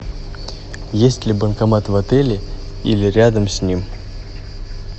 есть ли банкомат в отеле или рядом с ним